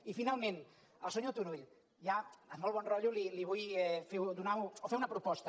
i finalment al senyor turull ja amb molt bon rotllo li vull fer una proposta